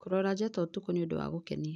Kũrora njata ũtukũ nĩ ũndũ wa gũkenia.